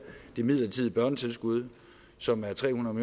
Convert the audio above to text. det midlertidige børnetilskud som er tre hundrede